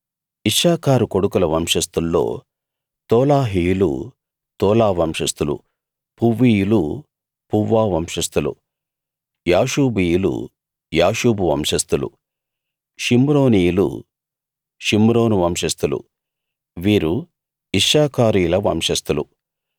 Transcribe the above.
ఇశ్శాఖారు కొడుకుల వంశస్థుల్లో తోలాహీయులు తోలా వంశస్థులు పువ్వీయులు పువ్వా వంశస్థులు యాషూబీయులు యాషూబు వంశస్థులు షిమ్రోనీయులు షిమ్రోను వంశస్థులు వీరు ఇశ్శాఖారీయుల వంశస్థులు